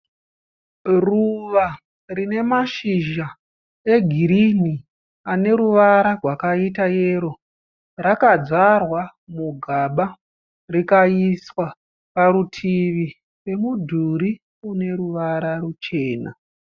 Ruva rine mashizha egirinhi ane ruvara rwakaita yero. Rakadyarwa mugaba rikaiswa parutivi pemudhuri une ruvara ruchena.